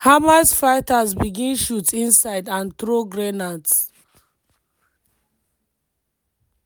hamas fighters begin shoot inside and throw grenades.